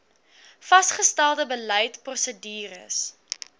vasgestelde beleid prosedures